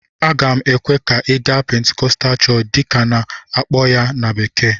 Aga m ekwe ka ị gaa "Pentecostal Church" dịka a na-akpọ ya na bekee